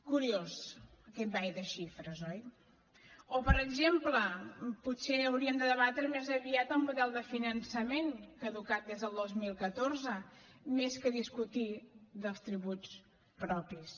curiós aquest ball de xifres oi o per exemple potser hauríem de debatre més aviat el model de finançament caducat des del dos mil catorze més que discutir dels tributs propis